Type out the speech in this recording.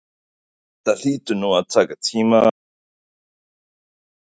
Þetta hlýtur nú að taka tíma að setja þetta allt upp?